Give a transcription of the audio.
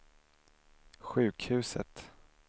sjukhuset